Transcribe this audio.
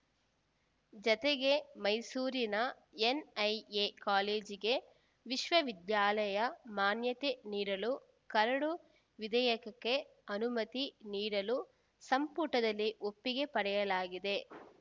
ಜತೆಗೆ ಮೈಸೂರಿನ ಎನ್‌ಐಎ ಕಾಲೇಜಿಗೆ ವಿಶ್ವವಿದ್ಯಾಲಯ ಮಾನ್ಯತೆ ನೀಡಲು ಕರಡು ವಿಧೇಯಕಕ್ಕೆ ಅನುಮತಿ ನೀಡಲು ಸಂಪುಟದಲ್ಲಿ ಒಪ್ಪಿಗೆ ಪಡೆಯಲಾಗಿದೆ